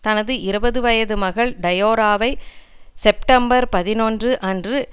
தனது இருபது வயது மகள் டயோராவை செப்டம்பர் பதினொன்று அன்று